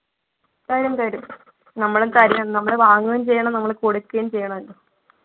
തരും തരും നമ്മള് തരു നമ്മള് വാങ്ങും ചെയ്യണം നമ്മള് കൊടുക്കും ചെയ്യണല്ലോ